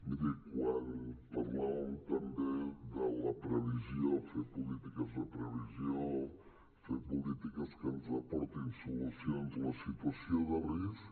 miri quan parlàvem també de la previsió fer polítiques de previsió fer polítiques que ens aportin solucions la situació de risc